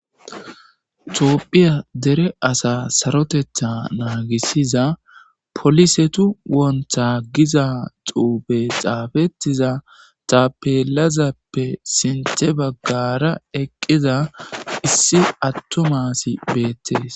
toopphiya dere asa sarotetha naagisiza polisetu wontha giza xuube xaafetiza tapelazappe sinthe baggara eqqiza issi attomasi beettees